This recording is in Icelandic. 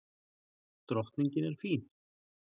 Drottningin er fín.